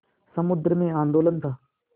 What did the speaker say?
समुद्र में आंदोलन था